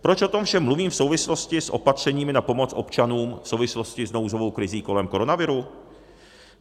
Proč o tom všem mluvím v souvislosti s opatřeními na pomoc občanům v souvislosti s nouzovou krizí kolem koronaviru?